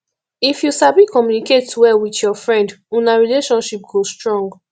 if you sabi communicate well with your friend una friendship go strong